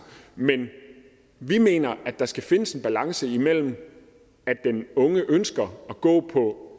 men vi mener at der skal findes en balance mellem at den unge ønsker at gå på